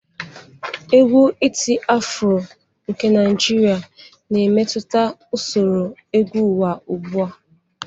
Égwù iti-afro nke Naijiria na-emetụta usoro egwu ụwa ugbu a.